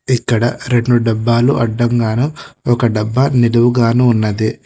ఇక్కడ రెండు డబ్బాలు అడ్డంగాను ఒక డబ్బా నిదువుగానూ ఉన్నది.